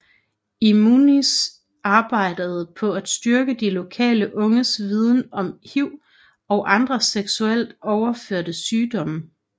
IMUNZI arbejde på at styrke de lokale unges viden om HIV og andre seksuelt overførte sygdomme